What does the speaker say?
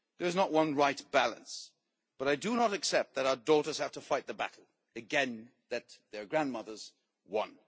There is not one right balance, but I do not accept that our daughters have to fight again the battle that their grandmothers won.